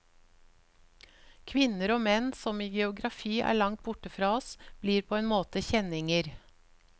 Kvinner og menn som i geografi er langt borte fra oss, blir på en måte kjenninger.